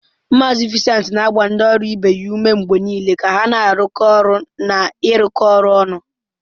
Mazị Vincent na-agba ndị ọrụ ibe ya ume mgbe niile ka ha na-arụkọ ọrụ na ịrụkọ ọrụ ọnụ.